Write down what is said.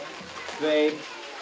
tveir